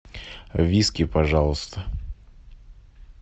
виски пожалуйста